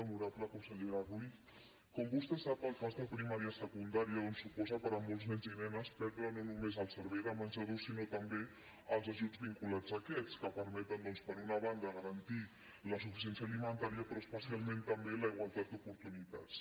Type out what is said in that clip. honorable consellera ruiz com vostè sap el pas de primària a secundària suposa per a molts nens i nenes perdre no només el servei de menjador sinó també els ajuts vinculats a aquest servei que permeten per una banda garantir la suficiència alimentària però especialment també la igualtat d’oportunitats